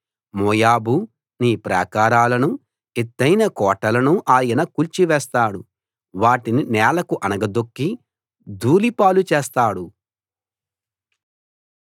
మోయాబూ నీ ప్రాకారాలను ఎత్తయిన కోటలను ఆయన కూల్చి వేస్తాడు వాటిని నేలకు అణగదొక్కి ధూళి పాలు చేస్తాడు